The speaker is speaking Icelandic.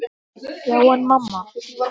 Já, en mamma.!